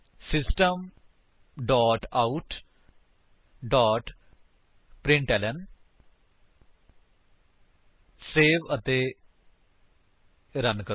system dot out dot println 160 save ਅਤੇ run ਕਰੋ